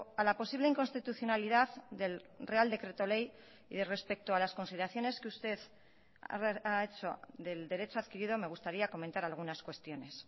a la posible inconstitucionalidad del real decreto ley y respecto a las consideraciones que usted ha hecho del derecho adquirido me gustaría comentar algunas cuestiones